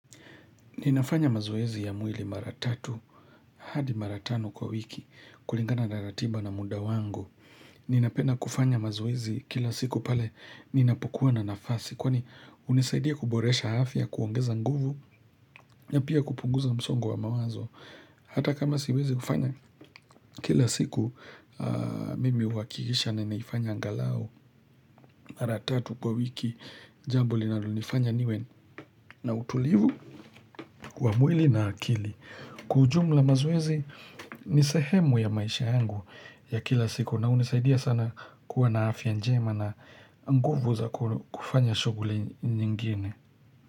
Ninafanya mazoezi ya mwili mara tatu, hadi mara tano kwa wiki, kulingana na ratiba na muda wangu. Ninapenda kufanya mazoezi kila siku pale ninapokuwa na nafasi, kwani hunisaidia kuboresha afya, kuongeza nguvu, na pia kupunguza msongo wa mawazo. Hata kama siwezi kufanya, kila siku mimi huhakikisha ninaifanya angalau mara tatu kwa wiki, jambo linalonifanya niwe na utulivu wa mwili na akili. Kwa ujumla mazoezi ni sehemu ya maisha yangu ya kila siku na hunisaidia sana kuwa na afya njema na nguvu za kufanya shoghuli nyingine.